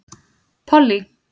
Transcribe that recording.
Pollý